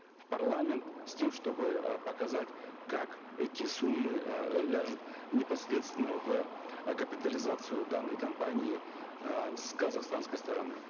в парламент с тем чтобы э показать как эти суммы э непосредственно в э капитализацию данной компании э с казахстанской стороны